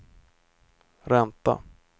ränta